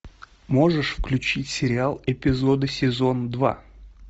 можешь включить сериал эпизоды сезон два